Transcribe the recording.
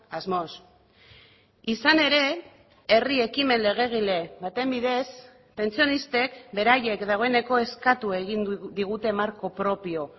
asmoz izan ere herri ekimen legegile baten bidez pentsionistek beraiek dagoeneko eskatu egin digute marko propio